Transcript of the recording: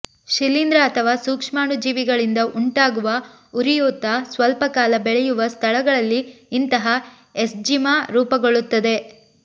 ಶಿಲೀಂಧ್ರ ಅಥವಾ ಸೂಕ್ಷ್ಮಾಣುಜೀವಿಗಳಿಂದ ಉಂಟಾಗುವ ಉರಿಯೂತ ಸ್ವಲ್ಪ ಕಾಲ ಬೆಳೆಯುವ ಸ್ಥಳಗಳಲ್ಲಿ ಇಂತಹ ಎಸ್ಜಿಮಾ ರೂಪುಗೊಳ್ಳುತ್ತದೆ